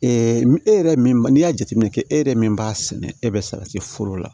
e yɛrɛ min n'i y'a jateminɛ kɛ e yɛrɛ min b'a sɛnɛ e bɛ salati foro la